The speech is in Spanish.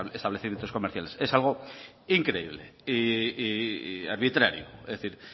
establecimiento comerciales es algo increíble y arbitrario es decir